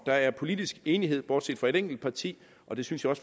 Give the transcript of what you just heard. der er politisk enighed bortset fra et enkelt parti og det synes jeg